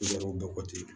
Yɔrɔw bɛɛ kɔti